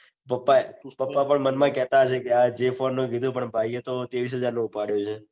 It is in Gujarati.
પપ્પા એ પપ્પા પણ મન માં કેતા હશે. કે આ જે phone નું કીધું પણ ભાઈ એ ત્રેવીસ હાજર નો ઉપાડ્યો છે.